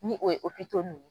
Ni o ye n